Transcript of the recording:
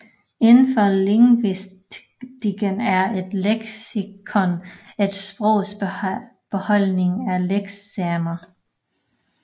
Indenfor lingvistikken er et leksikon et sprogs beholdning af leksemer